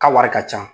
Ka wari ka ca